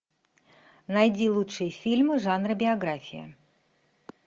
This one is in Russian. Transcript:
найди лучшие фильмы жанра биография